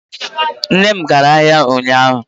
Nne m gara ahia ụnyahụ.